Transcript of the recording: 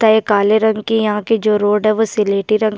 त ये काले रंग की यहाँ की जो रोड है वो सिलेटी रंग की --